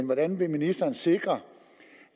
hvordan vil ministeren sikre